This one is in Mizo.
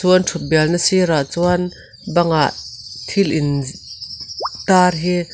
chu an thut bial na sir ah chuan bangah thil in tar hi--